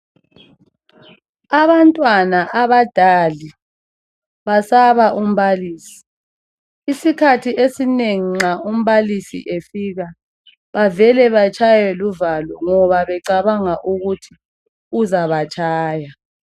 Abantwana aba dull basaba umbalisi. Isikhathi esinengi nxa umbalisi efika bavele batshaywe luvalo .Ngoba becabanga ukuthi uzabatshaya.